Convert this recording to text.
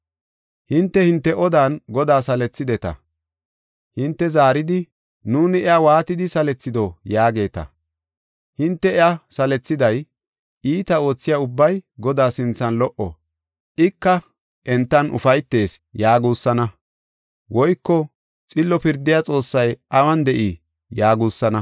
Hinte, hinte odan Godaa salethideta. Hinte zaaridi, “Nuuni iya waatidi salethido?” yaageeta. Hinte iya salethiday, “Iita oothiya ubbay Godaa sinthan lo77o; ika entan ufaytees” yaagusaana; woyko, “Xillo pirdiya Xoossay awun de7ii?” yaagusaana.